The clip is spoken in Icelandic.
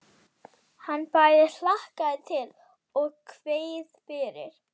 Hann bæði hlakkaði til og kveið fyrir.